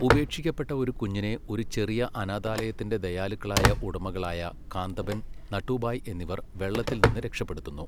ഉപേക്ഷിക്കപ്പെട്ട ഒരു കുഞ്ഞിനെ ഒരു ചെറിയ അനാഥാലയത്തിന്റെ ദയാലുക്കളായ ഉടമകളായ കാന്തബെൻ, നട്ടുഭായ് എന്നിവർ വെള്ളത്തിൽ നിന്ന് രക്ഷപ്പെടുത്തുന്നു.